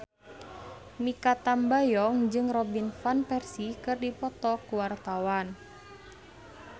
Mikha Tambayong jeung Robin Van Persie keur dipoto ku wartawan